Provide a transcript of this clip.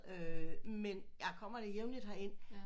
Øh men jeg kommer da jævnligt herind